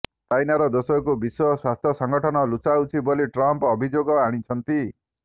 ଚାଇନାରା ଦୋଷକୁ ବିଶ୍ୱ ସ୍ୱାସ୍ଥ୍ୟ ସଂଗଠନ ଲୁଚାଉଛି ବୋଲି ଟ୍ରମ୍ପ ଅଭିଯୋଗ ଆଣିଛନ୍ତି